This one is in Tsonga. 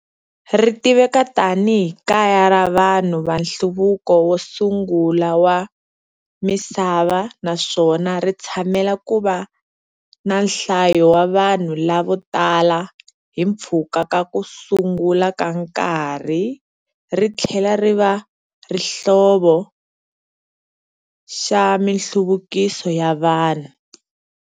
Ritiveka tani hi kaya ra vanhu vanhluvuko wo sungula wa misava naswona ritshamela kuva nanhlayo wa vanhu lavo tala himpfhuka ka ku sungula ka nkarhi rithlela riva xihlovo xa minhluvuko ya vanhu.